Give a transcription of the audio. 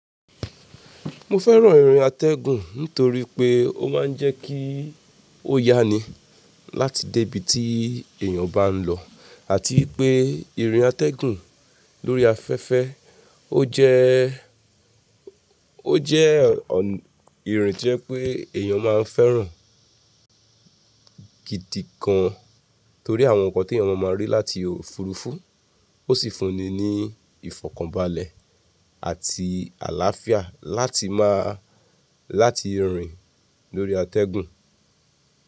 Mo fẹ́ràn atẹ́gùn nítorí pé ó máa ń jẹ́ kí ó yá ni láti dé ibi tí èèyàn bá ń lọ àti ipé ìrìn atẹ́gùn lórí afẹ́fẹ́ ó jẹ́, ó jẹ́ ìrìn tí ẹ pé èèyàn máa ń fẹ́ràn gidi gan, torí àwọn nǹkan tí èèyàn máa máa rí láti òfurufú ó sì fun ni ni ìfọ̀kànbalẹ̀ àti àlàáfíà láti máa, láti rìn lórí atẹ́gùn.